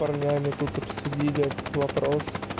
парнями тут обсудили этот вопрос